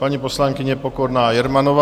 Paní poslankyně Pokorná Jermanová.